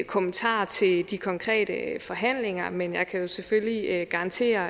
kommentarer til de konkrete forhandlinger men jeg kan jo selvfølgelig garantere